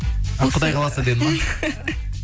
құдай қаласа деді ма